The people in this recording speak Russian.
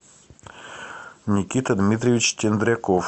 никита дмитриевич тендряков